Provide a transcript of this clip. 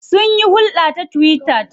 Sunyi hulɗa ta twitter.